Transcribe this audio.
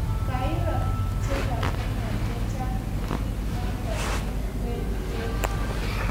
koiro biik che pa kenya chechang clipit nato eng kwenp'eet